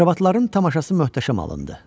Akrobatların tamaşası möhtəşəm alındı.